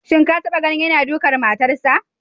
Shin ka taba ganin yana dukan matarsa?